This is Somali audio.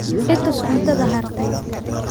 I tus cuntada hartay